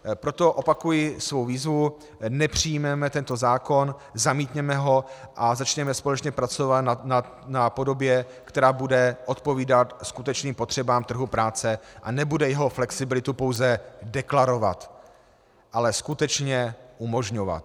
Proto opakuji svou výzvu: Nepřijměme tento zákon, zamítněme ho a začněme společně pracovat na podobě, která bude odpovídat skutečným potřebám trhu práce a nebude jeho flexibilitu pouze deklarovat, ale skutečně umožňovat.